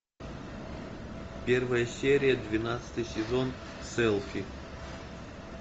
первая серия двенадцатый сезон селфи